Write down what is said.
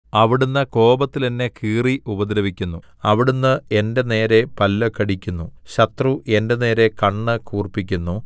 അവിടുന്ന് കോപത്തിൽ എന്നെ കീറി ഉപദ്രവിക്കുന്നു അവിടുന്ന് എന്റെ നേരെ പല്ല് കടിക്കുന്നു ശത്രു എന്റെ നേരെ കണ്ണ് കൂർപ്പിക്കുന്നു